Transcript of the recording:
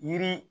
Yiri